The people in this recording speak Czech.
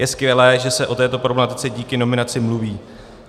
Je skvělé, že se o této problematice díky nominaci mluví.